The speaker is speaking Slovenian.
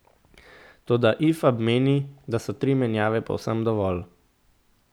Toda Ifab meni, da so tri menjave povsem dovolj.